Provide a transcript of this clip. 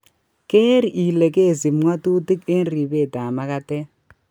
Keer ile keisib ng'otutik eng' ribeet ab magatet